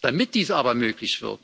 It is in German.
Damit dies aber möglich wird,